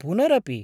पुनरपि?